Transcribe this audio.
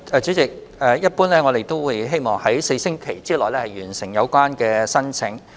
主席，一般來說，我們希望能在4星期內完成審批申請。